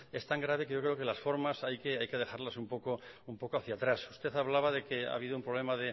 es tan grave que yo creo que las formas hay que dejarlas un poco hacia atrás usted hablaba de que ha habido un problema